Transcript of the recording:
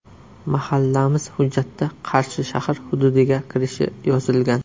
Mahallamiz hujjatda Qarshi shahar hududiga kirishi yozilgan.